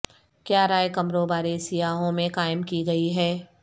کیا رائے کمروں بارے سیاحوں میں قائم کی گئی ہے